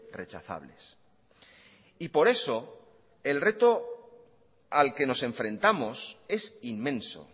rechazables y por eso el reto al que nos enfrentamos es inmenso